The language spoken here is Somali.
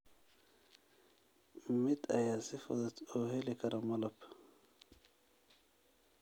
Mid ayaa si fudud u heli kara malab.